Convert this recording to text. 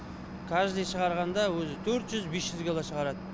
каждый шығарғанда өзі төрт жүз бес жүз кило шығарады